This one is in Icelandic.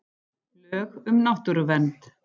Lög um náttúruvernd.